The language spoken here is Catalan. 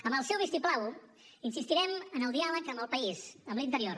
amb el seu vistiplau insistirem en el diàleg amb el país amb l’interior